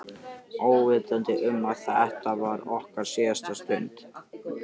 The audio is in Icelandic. Óvitandi um að þetta var okkar síðasta stund.